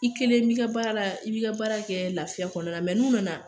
I kelen bi ka baara la, i bi ka baara kɛ lafiya kɔnɔna n'u nana